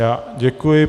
Já děkuji.